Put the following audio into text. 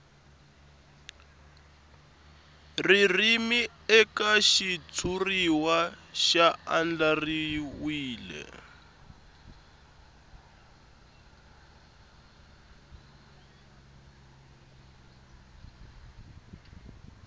ririmi eka xitshuriwa ya andlariwile